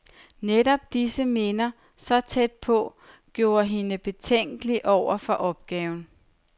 Netop disse minder, så tæt på, gjorde hende betænkelig over for opgaven.